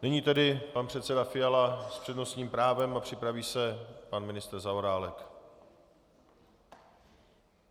Nyní tedy pan předseda Fiala s přednostním právem a připraví se pan ministr Zaorálek.